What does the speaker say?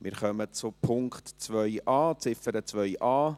Wir kommen zur Ziffer 2a.